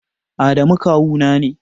Adamu kawu na ne